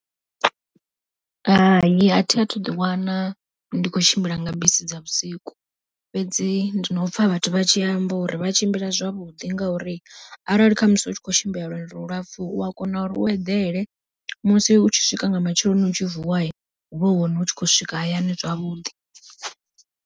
Hai athi athu ḓi wana ndi khou tshimbila nga bisi dza vhusiku, fhedzi ndi na u pfha vhathu vha tshi amba uri vha tshimbila zwavhuḓi ngauri arali khamusi u tshi kho tshimbila lwendo lu lapfhu u a kona u eḓele, musi u tshi swika nga matsheloni u tshi vuwa huvha hu hone u tshi khou swika hayani zwavhuḓi.